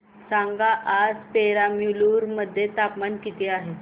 सांगा आज पेराम्बलुर मध्ये तापमान किती आहे